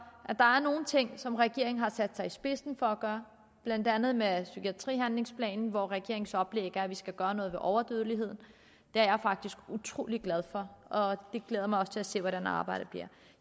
at der er nogle ting som regeringen har sat sig i spidsen for at gøre blandt andet med psykiatrihandlingsplanen hvor regeringens oplæg er at vi skal gøre noget ved overdødeligheden det er jeg faktisk utrolig glad for og jeg glæder mig også til at se hvordan arbejdet bliver